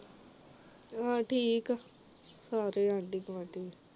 ਅਹ ਠੀਕ ਆ ਸਾਰੇ ਆਂਢੀ-ਗੁਆਂਢੀ ਵੀ